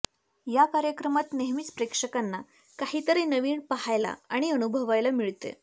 याकार्यक्रमात नेहमीच प्रेक्षकांना काहीतरी नवीन पाहायला आणि अनुभवायला मिळते